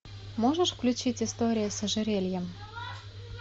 можешь включить история с ожерельем